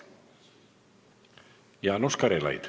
Jaanus Karilaid.